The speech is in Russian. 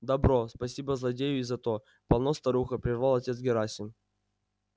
добро спасибо злодею и за то полно старуха прервал отец герасим